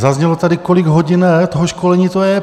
Zaznělo tady, kolik hodin toho školení to je.